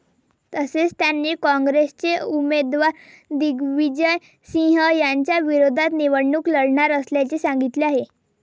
तसेच, त्यांनी काँग्रेसचे उमेदवार दिग्विजय सिंह यांच्याविरोधात निवडणूक लढणार असल्याचे सांगितले आहे.